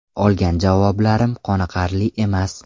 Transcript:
Olgan javoblarim qoniqarli emas.